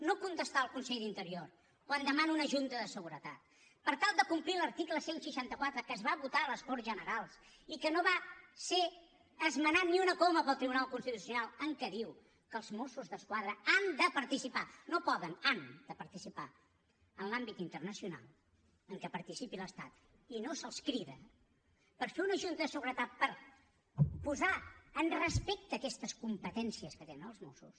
no contestar al conseller d’interior quan demana una junta de seguretat per tal de complir l’article cent i seixanta quatre que es va votar a les corts generals i que no va ser esmenat ni una coma pel tribunal constitucional que diu que els mossos d’esquadra han de participar no poden han de participar en l’àmbit internacional en què participi l’estat i no se’ls crida per fer una junta de seguretat per posar en respecte aquestes competències que tenen els mossos